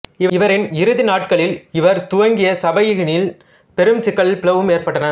இவரின் இறுதிநாட்களில் இவர் துவங்கிய சபையினில் பெரும் சிக்கலும் பிளவும் ஏற்பட்டன